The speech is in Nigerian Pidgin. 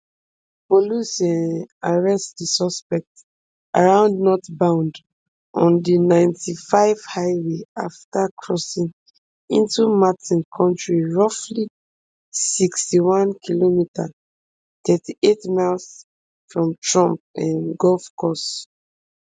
police um arrest di suspect around northbound on di ninety-five highway afta crossing into martin county roughly sixty-onekm thirty-eight miles from trump um golf course